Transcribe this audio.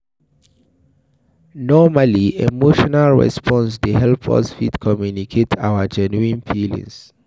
Normally, emotional response dey help us fit communicate our genuine feelings